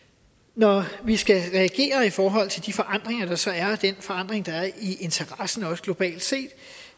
når vi skal reagere i forhold til de forandringer der så er og den forandring der er i interessen også globalt set